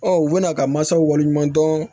Ɔ u bɛn'a ka masaw waleɲuman dɔn